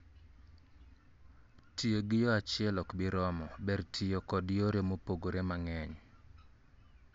Tiyo gi yo achiel ok bi romo; ber tiyo kod yore mopogre mang'eny